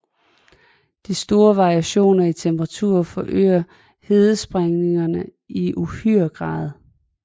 De store variationer i temperatur forøger hedesprængninger i uhyre grad